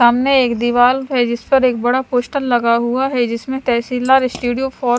सामने एक दीवाल है जिस पर एक बड़ा पोस्टर हुआ है जिसमे तहसील दार स्टूडियो फॉर --